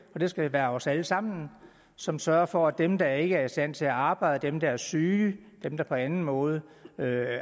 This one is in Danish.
og det skal være os alle sammen som sørger for at dem der ikke er i stand til at arbejde dem der er syge og dem der på anden måde